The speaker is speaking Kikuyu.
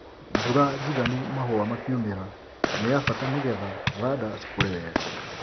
Mbura njigano mahũa makiumĩra nĩ ya bata nĩgetha thanda cikũre wega.